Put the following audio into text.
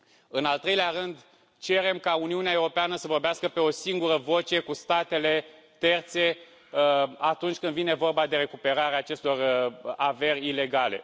În al treilea rând, cerem ca Uniunea Europeană să vorbească pe o singură voce cu statele terțe atunci când vine vorba de recuperarea acestor averi ilegale.